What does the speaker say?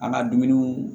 An ka dumuniw